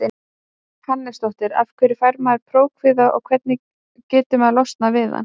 Hannesdóttur Af hverju fær maður prófkvíða og hvernig getur maður losnað við hann?